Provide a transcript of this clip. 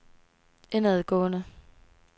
indadgående